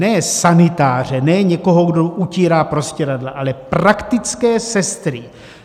Ne sanitáře, ne někoho, kdo utírá prostěradla, ale praktické sestry.